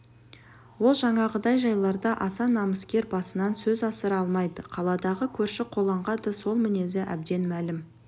ол жаңағыдай жайларда аса намыскер басынан сөз асыра алмайды қаладағы көрші-қолаңға да сол мінезі әбден мәлім